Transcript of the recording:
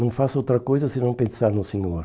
Não faço outra coisa se não pensar no senhor.